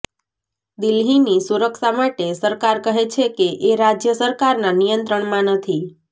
દિલ્હીની સુરક્ષા માટે સરકાર કહે છે કે એ રાજ્ય સરકારના નિયંત્રણમાં નથી